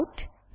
callout